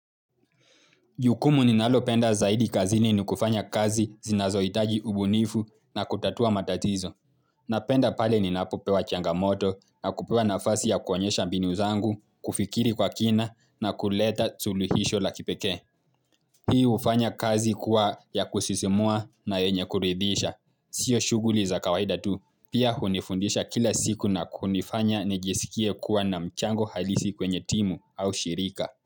Jukumu ni nalopenda zaidi kazini ni kufanya kazi zinazoitaji ubunifu na kutatua matatizo. Napenda pale ni napopewa changamoto na kupewa nafasi ya kuonyesha mbinu zangu, kufikiri kwa kina na kuleta suluhisho la kipekee. Hii hufanya kazi kuwa ya kusisimua na yenye kurehidisha. Sio shughuli za kawaida tu, pia hunifundisha kila siku na kunifanya nijisikie kuwa na mchango halisi kwenye timu au shirika.